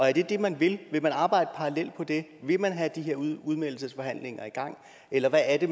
er det det man vil vil man arbejde parallelt på det vil man have de her udmeldelsesforhandlinger i gang eller hvad er det